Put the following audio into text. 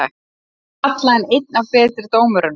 Þeir kalla hann einn af betri dómurunum?